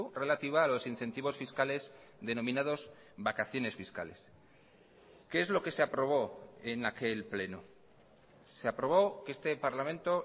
relativa a los incentivos fiscales denominados vacaciones fiscales qué es lo que se aprobó en aquel pleno se aprobó que este parlamento